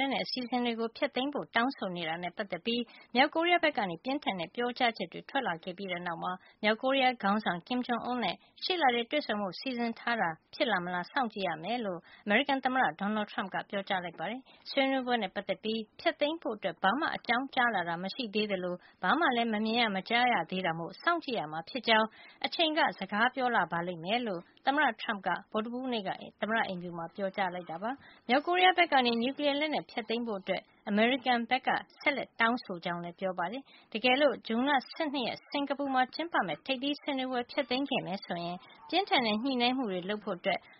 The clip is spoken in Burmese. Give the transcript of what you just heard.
လက်နက် အစီစဉ်တွေ ဖျက်သိမ်းဖို့ တောင်းဆိုနေတာနဲ့ ပတ်သက်ပြီး မြောက်ကိုရီးယား ဘက်က ပြင်းထန်တဲ့ပြောကြားချက်တွေ ထွက်လာခဲ့ပြီးတဲ့နောက်မှာ မြောက်ကိုရီးယား ခေါင်းဆောင် Kim Jong Un နဲ့ ရှေ့လထဲတွေ့ဆုံဖို့ စီစဉ်ထားတာ အတွက် ဖြစ်လာမလာ စောင့်ကြည့်ရမယ်လို့ အမေရိကန်သမ္မတ Donald Trump က ပြောကြားလိုက်ပါတယ်။ ဆွေးနွေးပွဲနဲ့ ပတ်သက်ပြီး ဖျက်သိမ်းဖို့ ဘာမှ အကြောင်းကြားလာတာ မရှိသေးသလို ဘာမှလည်း မမြင်ရ မကြားရသေးတာမို့ စောင့်ကြည့်ရမှာ ဖြစ်ကြောင်း အချိန်က စကားပြောလာလိမ့်မယ်လို့ သမ္မတ Trump က ဗုဒ္ဓဟူးနေ့က သမ္မတအိမ်ဖြူမှာ ပြောပါတယ်။ မြောက်ကိုရီးယားဘက်က နျူကလီယားလက်နက်ဖျက်သိမ်းဖို့ အမေရိကန်က ဆက်လက်တောင်းဆိုနေကြောင်းလည်း ပြောပါတယ်။ တကယ်လို့ ဇွန်လ ၁၂ ရက် စင်္ကာပူမှာကျင်းပမယ့် ထိပ်သီးဆွေးနွေးပွဲ ဖျက်သိမ်းခဲ့မယ်ဆိုရင် ပြင်းထန်တဲ့ ညှိနှိုင်းမှုတွေ လုပ်ဖို့